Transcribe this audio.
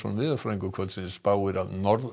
veðurfræðingur kvöldsins spáir að